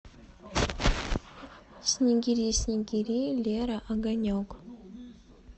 снегири снегири лера огонек